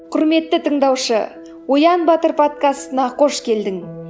құрметті тыңдаушы оян батыр подкастына қош келдің